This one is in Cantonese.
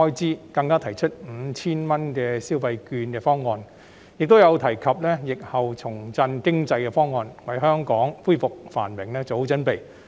此外，更提出 5,000 元消費券及疫後重振經濟的方案，為香港恢復繁榮作好準備。